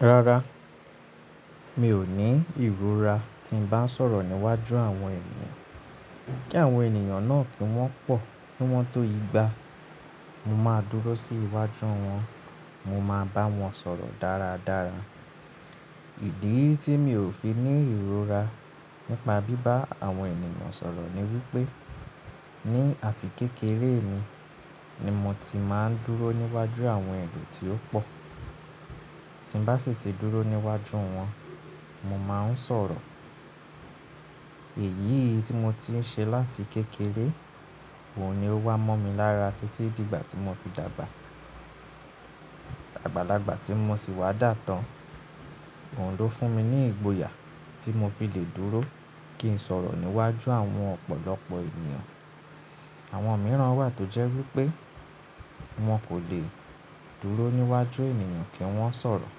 Rárá, mi ò ní ìrora tí ń bá ń sọ̀rọ̀ níwájú àwọn ènìyàn. Kí àwọn ènìyàn náà kí wọ́n pọ̀, kí wọ́n tó yígbà, mo máa dúró sí iwájú wọn, mo máa bá wọn sọ̀rọ̀ dáradára. Ìdí tí mi ò fi ní ìrora nípa bíbá àwọn ènìyàn sọ̀rọ̀ ni wípé ní àti kékeré mi ni mo ti máa ń dúró níwájú àwọn ẹro tí ó pọ̀. Tí ń bá sì ti dúró níwájú wọn, mo máa ń sọ̀rọ̀. Èyí tí mo ti ń ṣe láti kékeré, òun ni ó wá mọ́ mi lára títí dìgbà tí mo fi dàgbà. Àgbàlagbà tí mo sì wá dà tán, òun ló fún mi ní ìgboyà tí mo fi lè dúró kí ń sọ̀rọ̀ níwájú àwọn ọ̀pọ̀lọpọ̀ ènìyàn. Àwọn mìíràn wà tó jẹ́ wípé wọn kò lè dúró níwájú ènìyàn kí wọ́n sọ̀rọ̀.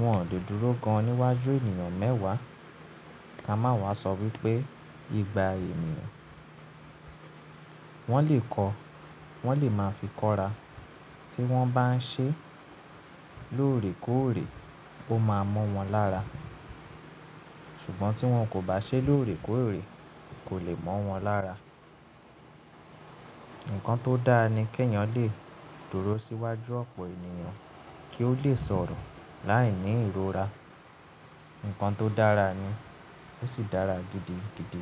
Wọn ò lè dúró gan níwájú ènìyàn mẹ́wàá. Ka máa wá sọ wípé ìgbà ènìyàn wọn lè kọ́, wọn lè máa fi kọ́ra. Tí wọ́n bá ń ṣe lóòrèkóòrè, ó máa mọ́ wọn lára. Ṣùgbọ́n tí wọn kò bá ṣe lóòrèkóòrè, kò lè mọ́ wọn lára. Ǹkan tó dára ni kí èèyàn lè dúró síwájú ọ̀pọ̀ ènìyàn kí ó lè sọ̀rọ̀ láìní ìrora. Ǹkan tó dára ni, ó sì dára gidigidi.